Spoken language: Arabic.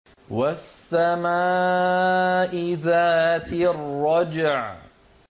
وَالسَّمَاءِ ذَاتِ الرَّجْعِ